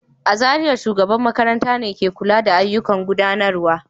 A Zariya, shugaban makarantar ne ke kula da ayyukan gudanarwa.